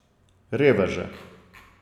Reveže.